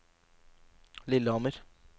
Lillehammer